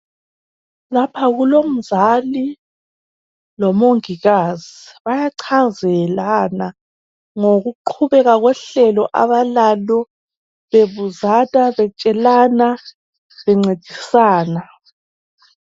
Lapha kulomzali lomongikazi bayachazelana abantwana ngokuqhubeka kohlelo abalalo, bebuzana betshelana bencedisana.